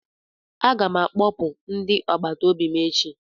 M ga-akpọpụ ndị agbata obi m echi.